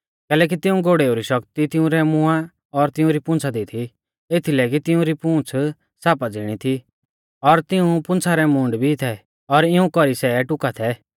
कैलैकि तिऊं घोड़ेऊ री शक्ति तिंउरै मुंहा और तिउंरी पूंछ़ा दी थी एथीलै कि तिउंरी पूंछ़ सापा ज़िणी थी और तिऊं पूंछ़ा रै मूंड भी थै और इऊं कौरी सै टुका थै